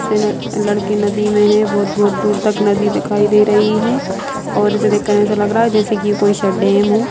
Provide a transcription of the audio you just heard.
लड़की नदी में है बहुत-बहुत दूर तक नदी दिखाई दे रही है और इससे देख कर ऐसा लग रहा है कोई स डैम हो।